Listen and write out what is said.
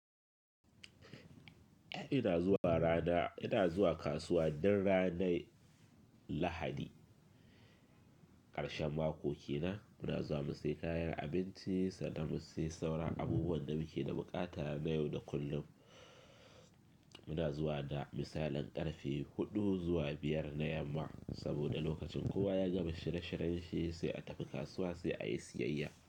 Ina zuwa rana, ina zuwa kasuwa dan ranar Lahadi ƙarshen makoki na. Muna zuwa mu sayi kayan abinci sannan mu sayi sauran abubuwan da muke da buƙata na yau da kullum. Muna zuwa da misalan ƙarfe huɗu zuwa biyar na yamma saboda lokacin kowa ya gama shirye-shiryen shi sai a tafi kasuwa sai a yi siyayya.